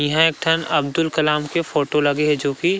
ईहा एक ठन अब्दुल कलाम के फोटो लगे हे जो कि--